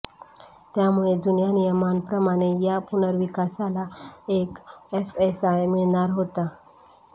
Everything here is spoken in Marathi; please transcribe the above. त्यामुळे जुन्या नियमांप्रमाणे या पुनर्विकासाला एक एफएसआय मिळणार होता